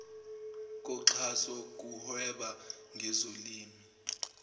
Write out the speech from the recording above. koxhaso kuhweba ngezolimo